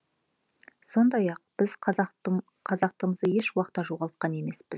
сондай ақ біз қазақтығымызды еш уақытта жоғалтқан емеспіз